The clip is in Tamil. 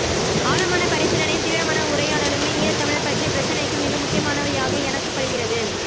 ஆழமான பரிசீலனையும் தீவிரமான உரையாடலுமே ஈழத்தமிழர் பற்றிய பிரச்சினைக்கு மிக முக்கியமானவையாக எனக்குப் படுகிறது